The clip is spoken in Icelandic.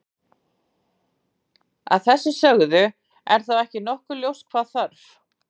Að þessu sögðu, er þá ekki nokkuð ljóst hvað gera þarf?